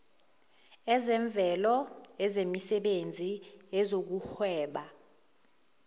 ezemvelo ezemisebenzi ezokuhweba